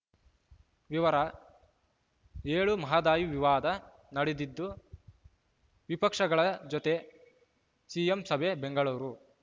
ವಿವರ ಏಳು ಮಹದಾಯಿ ವಿವಾದ ನಾಡಿದ್ದು ವಿಪಕ್ಷಗಳ ಜೊತೆ ಸಿಎಂ ಸಭೆ ಬೆಂಗಳೂರು